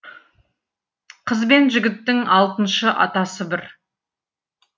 қыз бен жігіттің алтыншы атасы бір